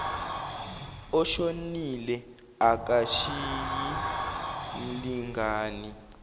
oshonile akashiyi mlingani